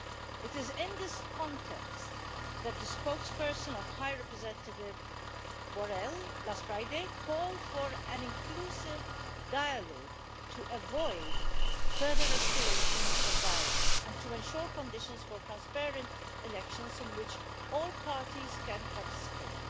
It is in this context that the spokesperson of High Representative Borrell last Friday called for an inclusive dialogue to avoid further escalation of violence and to ensure conditions for transparent elections in which all parties can participate.